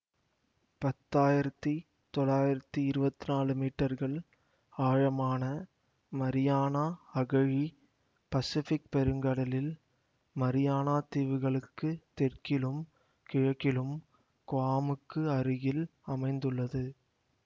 பத்தாயிரத்தி தொள்ளாயிரத்தி இருவத்தி நாலு மீட்டர்கள் ஆழமான மரியானா அகழி பசிபிக் பெருங்கடலில் மரியானா தீவுகளுக்குத் தெற்கிலும் கிழக்கில் குவாமுக்கு அருகில் அமைந்துள்ளது